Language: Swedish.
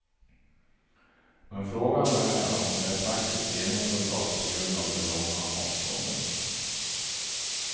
Men frågan är om det är praktiskt genomförbart på grund av de långa avstånden.